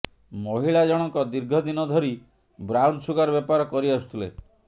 ମହିଳା ଜଣଙ୍କ ଦୀର୍ଘଦିନ ଧରି ବ୍ରାଉନସୁଗାର ବେପାର କରି ଆସୁଥିଲେ